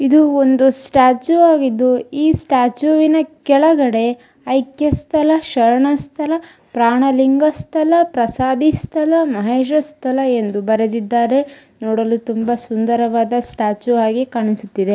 ಇದು ಒಂದು ಸ್ಟಾಟ್ಯೂಯ್ ಆಗಿದ್ದು ಇ ಸ್ಟಾಟ್ಯೂಯ್ನ ಕೆಳಗಡೆ ಆಯ್ಕೆ ಸ್ಥಲ ಶರಣ ಸ್ಥಲ ಪ್ರಾಣಲಿಂಗ ಸ್ಥಲ ಪ್ರಸಾದಿ ಸ್ಥಲ ಮಹೇಶ ಸ್ಥಲ ಎಂದು ಬರೆದಿದ್ದಾರೆ ನೋಡಲು ತುಂಬಾ ಸುಂದರವಾದ ಸ್ಟ್ಯಾಚು ಆಗಿ ಕಾಣಿಸುತ್ತದೆ.